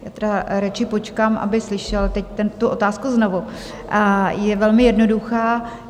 Já tedy radši počkám, aby slyšel teď tu otázku znovu, je velmi jednoduchá: